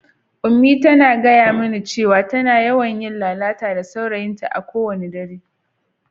Unmie ta gaya mani cewa tana yawan yin lalata da saurayinta a kowane dare.